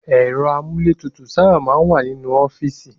Ẹ̀rọ amúlétutù máa ń sábà wá nínú ọ́fíìsì